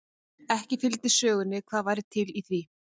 Ekki fylgdi sögunni hvað væri til í því.